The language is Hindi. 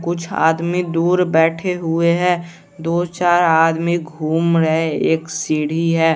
कुछ आदमी दूर बैठे हुए हैं दो चार आदमी घूम रहे एक सीढ़ी है।